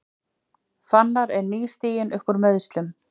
Fannar er nýstiginn uppúr meiðslum